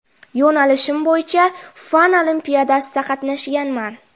Yo‘nalishim bo‘yicha fan olimpiadasida qatnashganman.